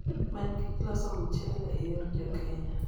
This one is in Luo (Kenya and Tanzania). many gik loso mchele e yor jokenya